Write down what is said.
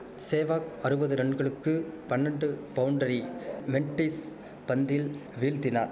சேவாக் அறுவது ரன்களுக்கு பன்னண்டு பவுண்டரி மெண்ட்டிஸ் பந்தில் வீழ்த்தினார்